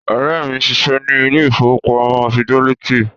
Ọ̀rẹ́ mi ń ṣiṣẹ́ ní ilé ìfowópamọ́ fidẹ́lítì